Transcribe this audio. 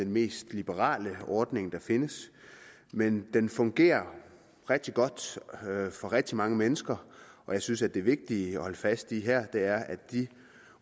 mest liberale ordning der findes men den fungerer rigtig godt for rigtig mange mennesker og jeg synes at det vigtige at holde fast i her er at de